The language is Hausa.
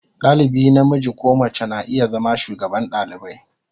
Dalibi namiji ko mace na iya zama shugaban dalibai.